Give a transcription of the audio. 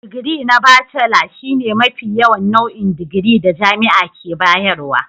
Digiri na Bacela shine mafi yawan nau'in digiri da jami'a ke bayarwa.